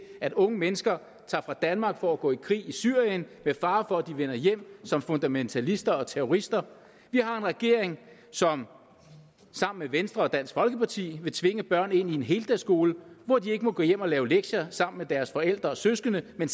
at unge mennesker tager fra danmark for at gå i krig i syrien med fare for at de vender hjem som fundamentalister og terrorister vi har en regering som sammen med venstre og dansk folkeparti vil tvinge børn ind i en heldagsskole hvor de ikke må gå hjem og lave lektier sammen med deres forældre og søskende men